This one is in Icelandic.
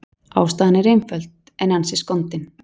Ástæðan er einföld, en ansi skondin.